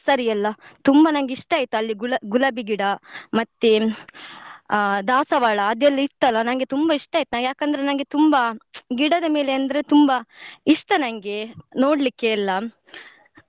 Nursery ಎಲ್ಲ ತುಂಬಾ ನಂಗೆ ಇಷ್ಟ ಆಯ್ತು ಅಲ್ಲಿ ಗು~ ಗುಲಾಬಿ ಗಿಡ ಮತ್ತೇ ಆ ದಾಸವಾಳ ಅದೆಲ್ಲ ಇತ್ತಲ್ಲ ನಂಗೆ ತುಂಬಾ ಇಷ್ಟ ಆಯ್ತು ನಂಗೆ ಯಾಕಂದ್ರೆ ನಂಗೆ ತುಂಬಾ ಗಿಡದ ಮೇಲೆ ಅಂದ್ರೆ ತುಂಬಾ ಇಷ್ಟ ನಂಗೆ ನೋಡ್ಲಿಕ್ಕೆ ಎಲ್ಲ.